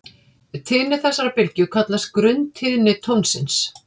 Tíðni þessarar bylgju kallast grunntíðni tónsins.